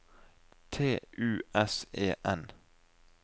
T U S E N